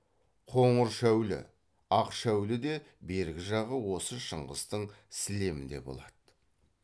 қоңыршәулі ақшәулі де бергі жағы осы шыңғыстың сілемінде болады